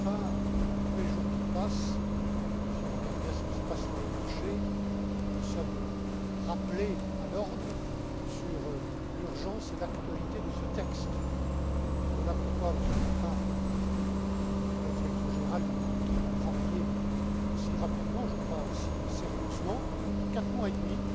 Canfin, tous les jours qui passent, si on regarde bien ce qui se passe sur les marchés, nous sommes rappelés à l'ordre quant à l'urgence et à l'actualité de ce texte. Voilà pourquoi, Monsieur Canfin, toute ma direction générale et mon équipe ont travaillé aussi rapidement, je crois, aussi sérieusement, en quatre mois et demi